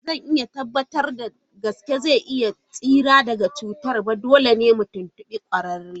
Ba zan iya tabbatar da gaske ko zai tsira daga cutar ba, dole ne mu tuntubi kwararre.